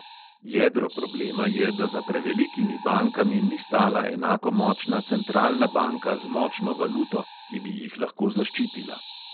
Jedro problema je, da za prevelikimi bankami ni stala enako močna centralna banka z močno valuto, ki bi jih lahko zaščitila.